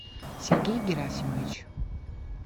сергей герасимович